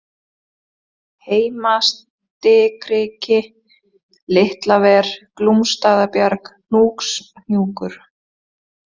Heimastikriki, Litlaver, Glúmsstaðabjarg, Hnjúkshnjúkur